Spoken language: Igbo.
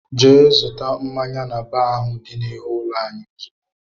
Jee zụta mmáñyá n'baar ahụ dị n'ihu ụlọ anyị ozigbo!!!!